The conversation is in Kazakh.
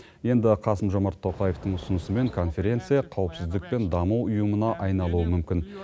енді қасым жомарт тоқаевтың ұсынысымен конференция қауіпсіздік пен даму ұйымына айналуы мүмкін